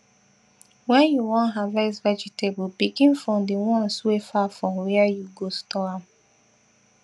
when you wan harvest vegetable begin from the ones wey far from where you go store am